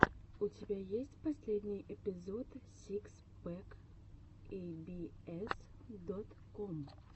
у тебя есть последний эпизод сикс пэк эй би эс дот ком